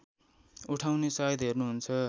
उठाउने साइत हेर्नुहुन्छ